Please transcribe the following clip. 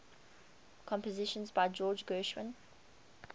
compositions by george gershwin